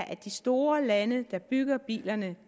at de store lande der bygger bilerne